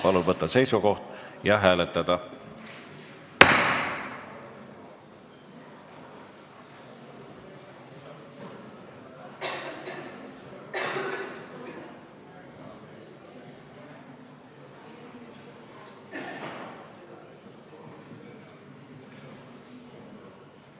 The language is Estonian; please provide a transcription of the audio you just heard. Palun võtta seisukoht ja hääletada!